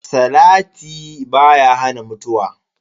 Salati baya hana mutuwa.